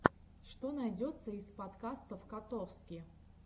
что найдется из подкастов котовски